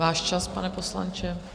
Váš čas, pane poslanče.